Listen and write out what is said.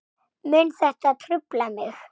Mun þetta trufla mig?